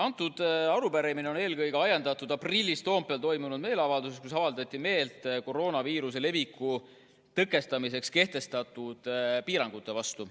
See arupärimine on eelkõige ajendatud aprillis Toompeal toimunud meeleavaldusest, kus avaldati meelt koroonaviiruse leviku tõkestamiseks kehtestatud piirangute vastu.